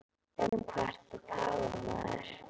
Um hvað ertu að tala maður?